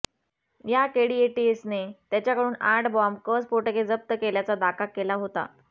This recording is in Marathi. याकेळी एटीएसने त्याच्याकडून आठ बॉम्ब क स्फोटके जप्त केल्याचा दाका केला होता